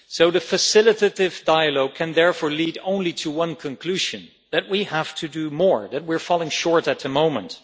The facilitative dialogue can therefore lead only to one conclusion that we have to do more, that we are falling short at the moment.